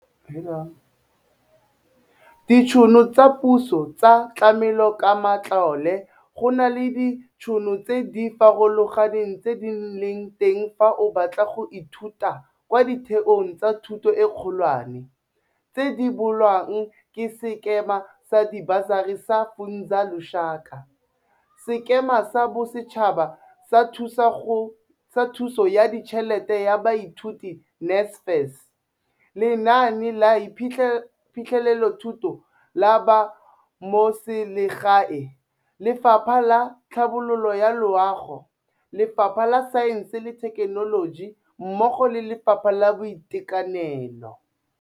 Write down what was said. Ditšhono tsa puso tsa tlamelokamatlole Go na le ditšhono tse di farologaneng tse di leng teng fa o batla go ithuta kwa ditheong tsa thuto e kgolwane, tse di rebolwang ke Sekema sa Dibasari sa Funza Lushaka, Sekema sa Bosetšhaba sa Thuso ya Ditšhelete ya Baithuti, NSFAS, Lenaane la Phitlhelelothuto la Bamotseselegae, Lefapha la Tlhabololo ya Loago, Lefapha la Saense le Thekenoloji mmogo le Lefapha la Boitekanelo.